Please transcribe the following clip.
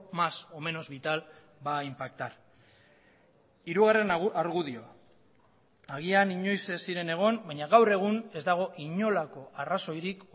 más o menos vital va a impactar hirugarren argudioa agian inoiz ez ziren egon baina gaur egun ez dago inolako arrazoirik